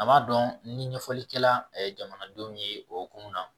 A m'a dɔn ni ɲɛfɔli kɛla ye jamanadenw ye o kunun na